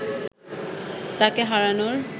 তাকে হারানোর